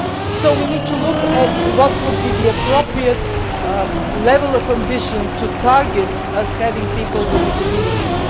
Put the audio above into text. So we need to look at what would be the appropriate level of ambition to target as regards people with disabilities.